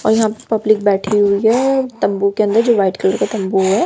और यहां पब्लिक बैठी हुई है तंबू के अंदर जो व्हाइट कलर का तंबू है।